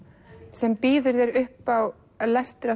sem býður upp á lestur